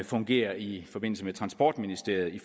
fungerer i forbindelse med transportministeriet i